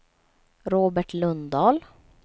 Robert Lundahl